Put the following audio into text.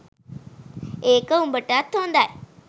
ඒක උඹටත් හොදයි